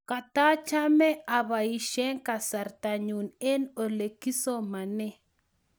katachame aposhe kasarta nyuu eng ole kisomanee